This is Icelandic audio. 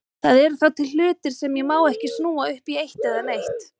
Það eru þá til hlutir sem ég má ekki snúa upp í eitt eða neitt.